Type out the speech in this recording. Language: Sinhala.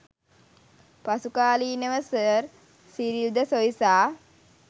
පසුකාලීනව සර් සිරිල් ද සොයිසා